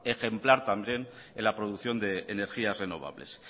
ejemplar también en la producción de energías renovables